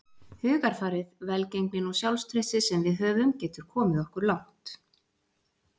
Hugarfarið, velgengnin og sjálfstraustið sem við höfum getur komið okkur langt.